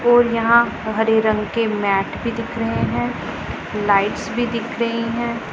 और यहां हरे रंग के मैट भी दिख रहे हैं लाइट्स दिख रही है।